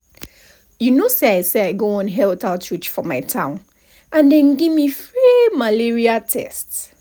you know say i say i go one health outreach for my town and dem give me free malaria tests.